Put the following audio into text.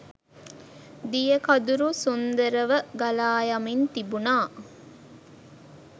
දිය කදුර සුන්දරව ගලායමින් තිබුණා